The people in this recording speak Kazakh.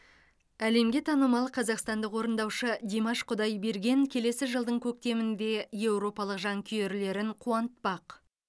әлемге танымал қазақстандық орындаушы димаш құдайберген келесі жылдың көктемінде еуропалық жанкүйерлерін қуантпақ